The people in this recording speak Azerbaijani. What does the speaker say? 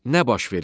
Nə baş verib?